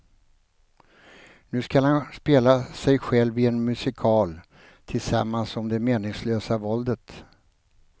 Nu skall han spela sig själv i en musikal tillsammans om det meningslösa våldet.